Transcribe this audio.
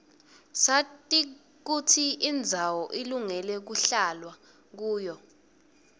sati kutsi indzawo ilungele kuhlalwa kuyo